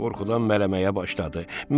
Qorxudan mələməyə başladı.